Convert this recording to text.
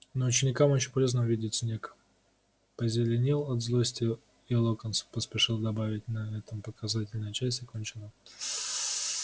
но ученикам очень полезно увидеть снегг позеленел от злости и локонс поспешил добавить на этом показательная часть окончена